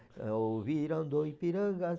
Ouviram do Ipiranga as